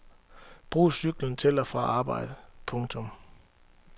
Brug cyklen til og fra arbejde. punktum